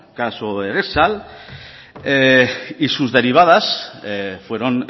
caso y sus derivadas fueron